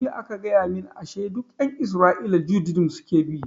Jiya aka gaya mun ashe duk ƴan isra'ila judaism suke bi